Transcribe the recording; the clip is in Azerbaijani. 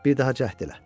Bir daha cəhd elə.